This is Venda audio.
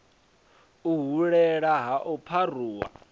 u hulela ha u pharuwa